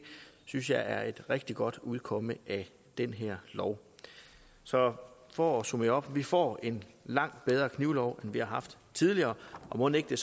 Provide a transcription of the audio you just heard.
synes jeg er et rigtig godt udkomme af den her lov så for at opsummere vi får en langt bedre knivlov end vi har haft tidligere og mon ikke